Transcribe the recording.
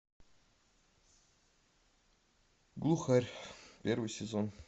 глухарь первый сезон